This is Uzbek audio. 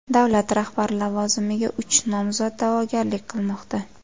Davlat rahbari lavozimiga uch nomzod da’vogarlik qilmoqda.